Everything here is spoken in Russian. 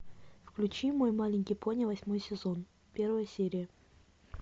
включи мой маленький пони восьмой сезон первая серия